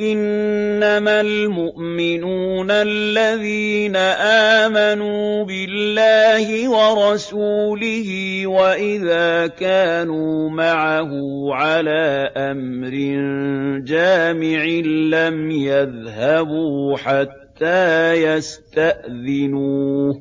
إِنَّمَا الْمُؤْمِنُونَ الَّذِينَ آمَنُوا بِاللَّهِ وَرَسُولِهِ وَإِذَا كَانُوا مَعَهُ عَلَىٰ أَمْرٍ جَامِعٍ لَّمْ يَذْهَبُوا حَتَّىٰ يَسْتَأْذِنُوهُ ۚ